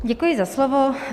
Děkuji za slovo.